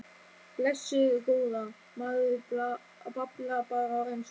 Blessuð góða. maður bablar bara á ensku.